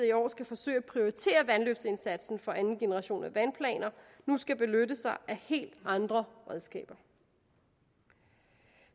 i år skal forsøge at prioritere vandløbsindsatsen for anden generation af vandplaner nu skal benytte sig af helt andre redskaber